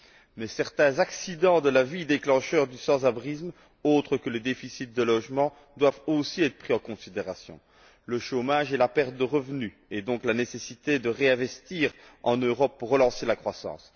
Mais certains accidents de la vie déclencheurs du sans abrisme, autres que le déficit de logements, doivent aussi être pris en considération le chômage et la perte de revenu et donc la nécessité de réinvestir en Europe pour relancer la croissance